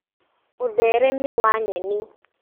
ũtheremia wa nyeni